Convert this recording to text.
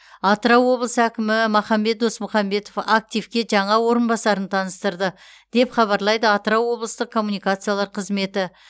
атырау облыс әкімі махамбет досмұхамбетов активке жаңа орынбасарын таныстырды деп хабарлайды атырау облыстық коммуникациялар қызметі